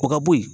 O ka bo yen